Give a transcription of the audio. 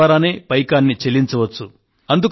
phone ద్వారానే పైకాన్ని చెల్లించవచ్చు